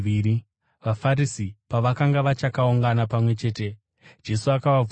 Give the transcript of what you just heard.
VaFarisi pavakanga vachakaungana pamwe chete, Jesu akavabvunza akati,